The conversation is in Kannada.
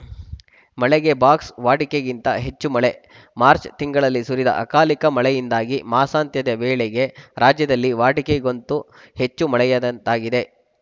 ಮಳೆಗೆ ಬಾಕ್ಸ್‌ ವಾಡಿಕೆಗಿಂತ ಹೆಚ್ಚು ಮಳೆ ಮಾಚ್‌ರ್‍ ತಿಂಗಳಲ್ಲಿ ಸುರಿದ ಅಕಾಲಿಕ ಮಳೆಯಿಂದಾಗಿ ಮಾಸಾಂತ್ಯದ ವೇಳೆಗೆ ರಾಜ್ಯದಲ್ಲಿ ವಾಡಿಕೆಗೊಂತ ಹೆಚ್ಚು ಮಳೆಯಾದಂತಾಗಿದೆ